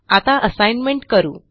आता असाइनमेंट करू